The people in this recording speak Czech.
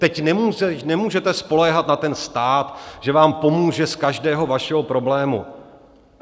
Teď nemůžete spoléhat na ten stát, že vám pomůže z každého vašeho problému.